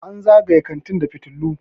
an zagaye kantin da fitilu